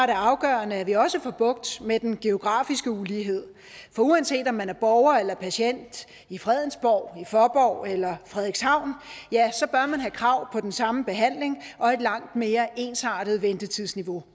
det afgørende at vi også får bugt med den geografiske ulighed for uanset om man er borger eller patient i fredensborg i fåborg eller i frederikshavn så bør man have krav på den samme behandling og et langt mere ensartet ventetidsniveau